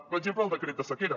per exemple el decret de sequera